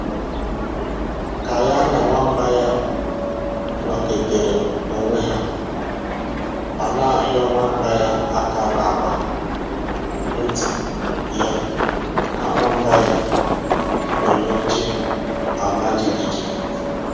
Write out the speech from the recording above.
Ka ya na nwamba ya nọketere onwe ha, ọ na-ahịọ nwamba ya aka n'agba nti ya ka nwamba ya nọ n'oche ama jighijighi